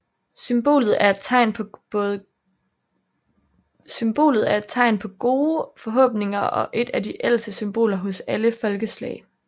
Symbolet er et tegn på gode forhåbninger og et af de ældste symboler hos alle folkeslag